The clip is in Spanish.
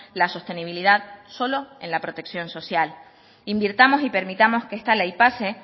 la sostenibilidad solo en la protección social invirtamos y permitamos que esta ley pase